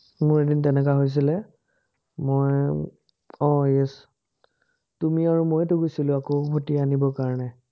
মোৰ এদিন তেনেকা হৈছিলে, মই আহ yes তুমি আৰু ময়েতো গৈছিলো আকৌ, ৰুটি আনিবৰ কাৰণে